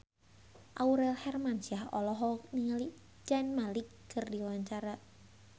Aurel Hermansyah olohok ningali Zayn Malik keur diwawancara